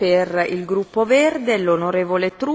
Frau Präsidentin, meine Damen und Herren!